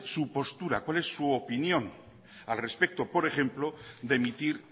su postura cuál es su opinión al respecto por ejemplo de emitir